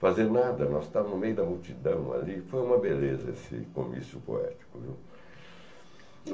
fazer nada, nós estávamos no meio da multidão ali, foi uma beleza esse comício poético, viu.